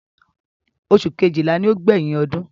Oṣù kejìlá ni ó gbẹ̀yìn ọdún.